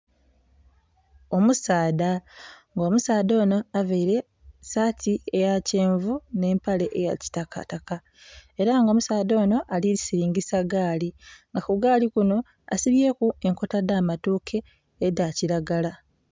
Omusaadha nga omusaadha onho avaire esaati eya kyenvu nhe empale eya kitakataka era nga omusaadha onho ali silingisa gaali nga ku gaali kinho asibyeku enkota dha matoke edha kilagala.